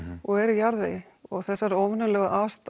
og eru í jarðvegi þessar óvenjulegu